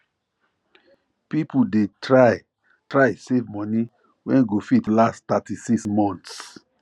people dey try try save money wey go fit last 36 months